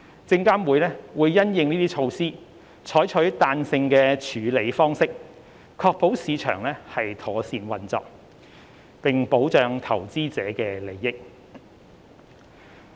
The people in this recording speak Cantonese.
證監會因應這些措施，採取彈性的處理方式，確保市場妥善運作，並保障投資者的利益。